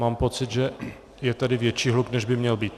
Mám pocit, že je tady větší hluk, než by měl být.